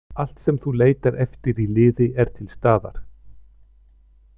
Allt sem þú leitar eftir í liði er til staðar.